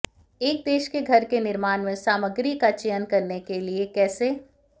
एक देश के घर के निर्माण में सामग्री का चयन करने के लिए कैसे